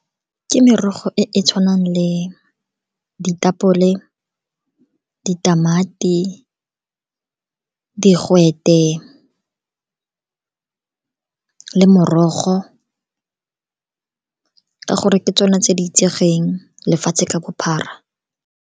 Ke merogo e e tshwanang le ditapole, ditamati, digwete le morogo ka gore ke tsone tse di itsegeng lefatshe ka bophara.